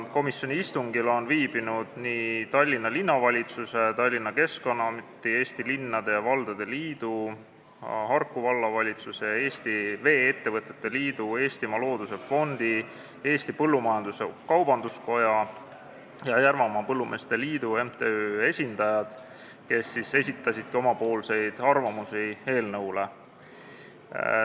Komisjoni istungil on viibinud Tallinna Linnavalitsuse, Tallinna Keskkonnaameti, Eesti Linnade ja Valdade Liidu, Harku Vallavalitsuse ja Eesti Vee-ettevõtete Liidu, Eestimaa Looduse Fondi, Eesti Põllumajandus-Kaubanduskoja ja Järvamaa Põllumeeste Liidu MTÜ esindajad, kes on esitanud oma arvamusi eelnõu kohta.